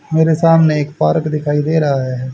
मेरे सामने एक पार्क दिखाई दे रहा है।